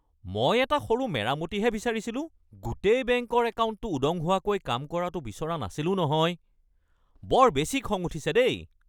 মই এটা সৰু মেৰামতিহে বিচাৰিছিলোঁ, গোটেই বেংকৰ একাউণ্টটো উদং হোৱাকৈ কাম কৰাটো বিচৰা নাছিলো নহয়! বৰ বেছি খং উঠিছে দেই।